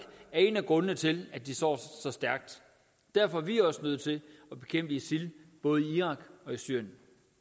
er en af grundene til at de står så stærkt derfor er vi nødt til at bekæmpe isil i både irak og syrien